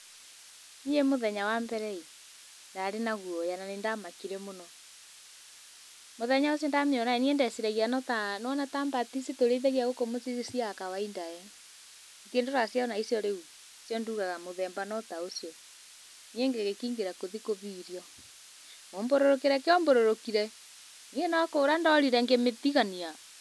Niĩ mũthenya wa mbere ĩĩ, ndarĩ na guoya na nĩndamakire mũno. Mũthenya ũcio ndamĩona ĩĩ, niĩ ndeciragia no ta, niwona ta mbata ici tũrĩithagia gũkũ muciĩ-ini cia kawaida eeh ? Gĩthĩ ndũraciona icio rĩu? Icio nduaga mũthemba no ta ũcio. Niĩ ngĩgĩkĩingĩra gũthiĩ kũhe irio. Mumbũrũrũkĩre kĩombũrũrũkire, niĩ no kũra ndorire ngĩmĩtigania.